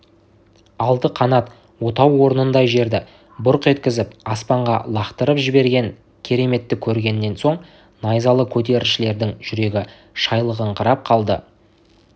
алты қанат отау орнындай жерді бұрқ еткізіп аспанға лақтырып жіберген кереметті көргеннен соң найзалы көтерілісшілердің жүрегі шайлығыңқырап қалды